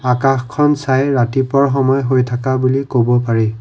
আকাশখন চাই ৰাতিপুৱা সময় হৈ থকা বুলি কব পাৰি।